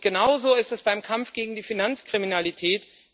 Genauso ist es beim Kampf gegen die Finanzkriminalität.